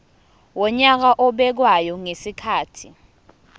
wonyaka obekwayo ngezikhathi